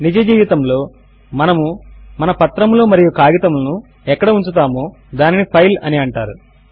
నిజ జీవితములో మనము మన పత్రములు మరియు కాగితములను ఎక్కడ ఉంచుతామో దానిని ఫైల్ అని అంటారు